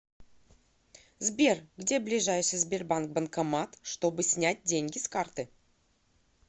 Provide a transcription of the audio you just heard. сбер где ближайший сбербанк банкомат чтобы снять деньги с карты